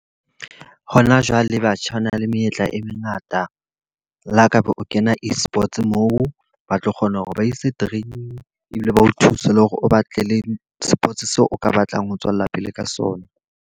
Hona jwale batjha bana le menyetla e mengata. Le ha ka ba o kena e-sports moo, ba tlo kgona hore ba ise training ebile ba o thuse le hore o batlele sports seo o ka batlang ho tswella pele ka sona.